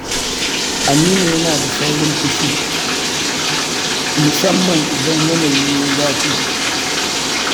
Aminu yana da saurin fushi, musamman idan yanayi ya yi zafi.